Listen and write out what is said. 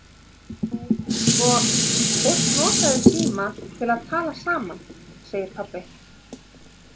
Jú, sko, fólk notaði síma til að tala saman, segir pabbi.